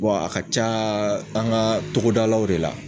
a ka caa an ŋa togodalaw de la.